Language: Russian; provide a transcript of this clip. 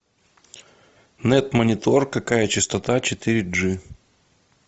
нет монитор какая частота четыре джи